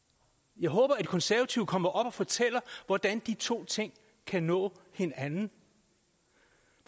jeg håber at de konservative kommer op og fortæller hvordan de to ting kan nå hinanden